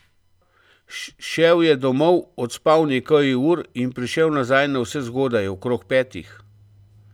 Šel je domov, odspal nekaj ur in prišel nazaj navsezgodaj, okrog petih.